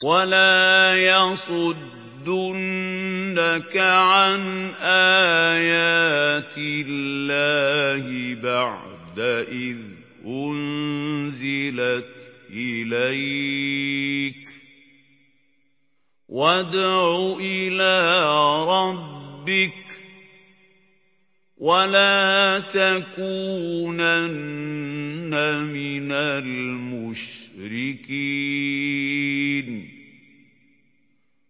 وَلَا يَصُدُّنَّكَ عَنْ آيَاتِ اللَّهِ بَعْدَ إِذْ أُنزِلَتْ إِلَيْكَ ۖ وَادْعُ إِلَىٰ رَبِّكَ ۖ وَلَا تَكُونَنَّ مِنَ الْمُشْرِكِينَ